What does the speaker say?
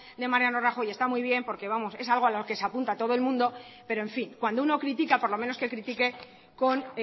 de mariano rajoy está muy bien porque vamos es algo a lo que se apunta todo el mundo pero en fin cuando uno critica por lo menos que critique con